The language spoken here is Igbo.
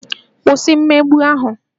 Kwụsị mmegbu ahụ!